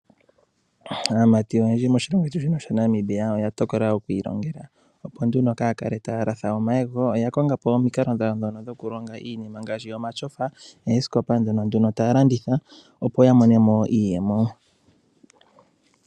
Aamati oyendji moshilongo shetu shaNamibia oya tokola okwiilongela, opo kaya kale taya latha omayego. Oya konga po omikalo ndhono dhokulonga iinima ngaashi omatyofa noosikopa ndhono ta landitha opo ya mone mo iiyemo.